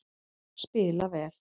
Spila vel